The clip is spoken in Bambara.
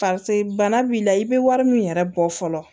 bana b'i la i bɛ wari min yɛrɛ bɔ fɔlɔ